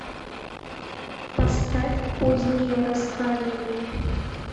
поставь позднее раскаяние